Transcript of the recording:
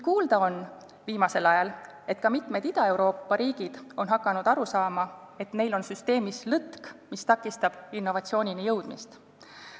Kuid viimasel ajal on kuulda, et ka mitmed Ida-Euroopa riigid on hakanud aru saama, et neil on süsteemis lõtk, mis takistab innovatsioonini jõudmist.